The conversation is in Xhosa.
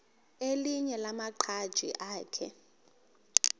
elinye lamaqhaji akhe